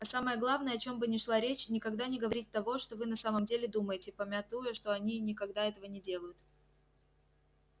а самое главное о чём бы ни шла речь никогда не говорить того что вы на самом деле думаете памятуя что и они никогда этого не делают